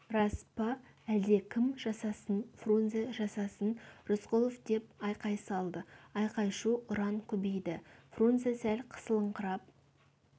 рас па әлдекім жасасын фрунзе жасасын рысқұлов деп айқай салды айқай-шу ұран көбейді фрунзе сәл қысылыңқырап